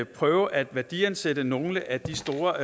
prøve at værdiansætte nogle af de store